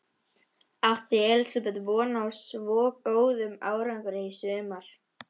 Átti Elísabet von á svo góðum árangri í sumar?